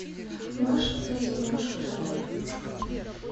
можешь показать киношку жанра войнушка